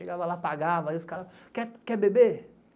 Chegava lá, pagava, aí os caras, quer beber?